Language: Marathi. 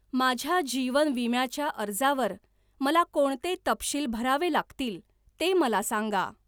माझ्या जीवन विम्या च्या अर्जावर मला कोणते तपशील भरावे लागतील ते मला सांगा.